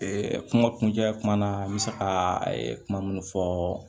kuma kuncɛ kuma na n bɛ se ka kuma minnu fɔ